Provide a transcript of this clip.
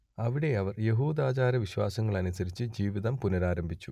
അവിടെ അവർ യഹൂദാചാരവിശ്വാസങ്ങൾ അനുസരിച്ചുള്ള ജീവിതം പുനരാരംഭിച്ചു